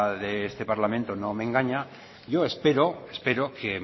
de este parlamento no me engaña yo espero que